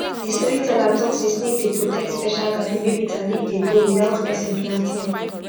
the storyteller talk say snake dey protect special garden wey bitterleaf dey grow without person planting am